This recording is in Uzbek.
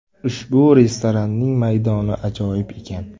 Ushbu restoranning maydoni ajoyib ekan.